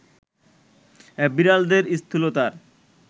বিড়ালদের স্থূলতার